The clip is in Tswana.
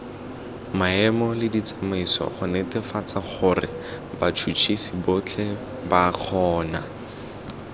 maemoleditsamaiso gonetefatsagorebats huts hisibotlheba kgona